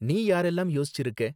நீ யாரெல்லாம் யோசிச்சிருக்க?